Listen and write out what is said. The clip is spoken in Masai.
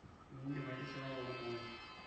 midim aitishipa pookin tungani